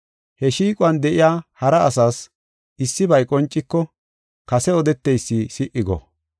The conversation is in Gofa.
He shiiquwan de7iya hara asas issibay qonciko kase odeteysi si77i go.